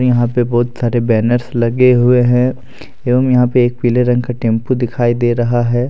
यहां पे बहुत सारे बैनर्स लगे हुए है एवं यहां पे एक पीले रंग का टेंपू दिखाई दे रहा हैं।